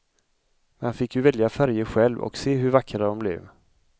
Man fick ju välja färger själv och se hur vackra dom blev.